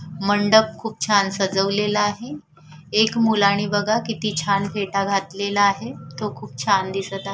मंडप खूप छान सजवलेला आहे एक मुलाने बघा किती छान फेटा घातलेला आहे तो खूप छान दिसत आहे.